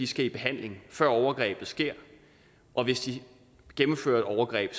skal i behandling før overgrebet sker og hvis de gennemfører et overgreb